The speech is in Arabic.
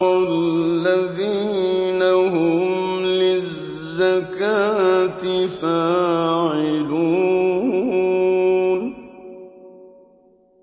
وَالَّذِينَ هُمْ لِلزَّكَاةِ فَاعِلُونَ